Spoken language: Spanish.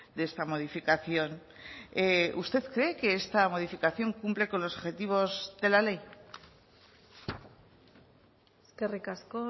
de esta modificación usted cree que esta modificación cumple con los objetivos de la ley eskerrik asko